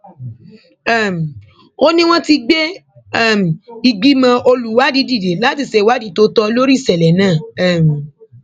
ó ní wọn ti gbé um ìgbìmọ olùwádìí dìde láti ṣèwádìí tó tọ lórí ìṣẹlẹ náà um